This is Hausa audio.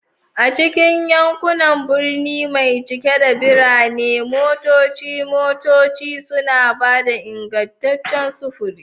A cikin yankunan birni mai cike da birane, motocin motocin suna ba da ingantaccen sufuri.